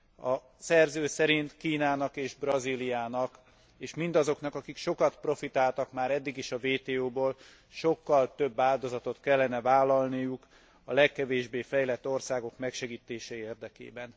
A szerző szerint Kínának és Brazíliának és mindazoknak, akik sokat profitáltak már eddig is a WTO ból, sokkal több áldozatot kellene vállalniuk a legkevésbé fejlett országok megsegítése érdekében.